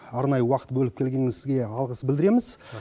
арнайы уақыт бөліп келгеніңізге алғыс білдіреміз